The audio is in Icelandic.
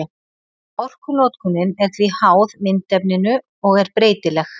Orkunotkunin er því háð myndefninu og er breytileg.